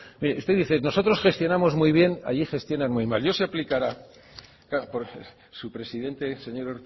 mire usted dice nosotros gestionamos muy bien allí gestionan muy mal ya se aplicará claro su presidente el señor